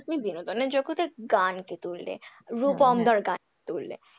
এই যে তুমি বিনোদন জগতের গানকে তুললে রুপম দার গান তুললে,